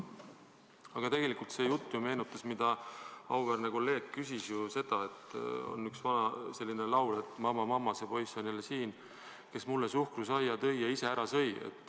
Aga see jutt, mille kohta auväärne kolleeg küsis, meenutas ju ühte vana laulu, et mamma, mamma, see poiss on jälle siin, kes mulle suhkrusaia tõi ja ise ära sõi.